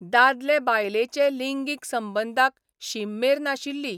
दादले बायलेचे लिंगीक संबंदांक शीम मेर नाशिल्ली.